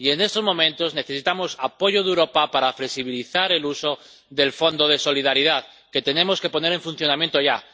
Y en estos momentos necesitamos apoyo de Europa para flexibilizar el uso del Fondo de Solidaridad, que tenemos que poner en funcionamiento ya.